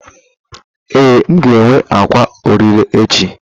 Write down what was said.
Ee, m ga-enwe ákwà ọrịre echi.